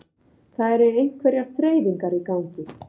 Það eru einhverjar þreifingar í gangi